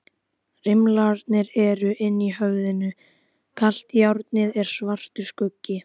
Rimlarnir eru inni í höfðinu, kalt járnið er svartur skuggi.